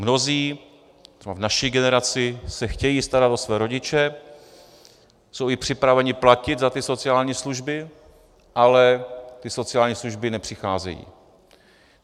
Mnozí třeba v naší generaci se chtějí starat o své rodiče, jsou i připraveni platit za ty sociální služby, ale ty sociální služby nepřicházejí.